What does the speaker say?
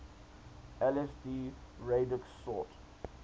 lsd radix sort